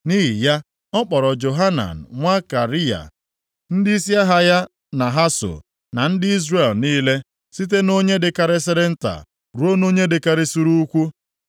Nʼihi ya ọ kpọrọ Johanan nwa Kariya, ndịisi agha ya na ha so na ndị Izrel niile, site nʼonye dịkarịsịrị nta ruo nʼonye dịkarịsịrị ukwuu.